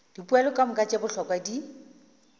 dipoelo kamoka tše bohlokwa di